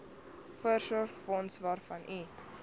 voorsorgsfonds waarvan u